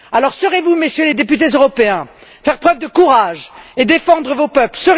Alors, saurez vous, Messieurs les députés européens, faire preuve de courage et défendre vos peuples.